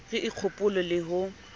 re o kgopo le ho